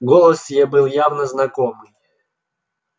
голос был явно знакомый